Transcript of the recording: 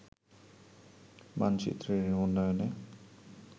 মানচিত্রের উন্নয়নে